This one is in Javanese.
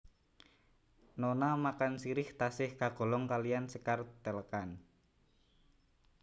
Nona makan sirih tasih kagolong kaliyan sékar Telekan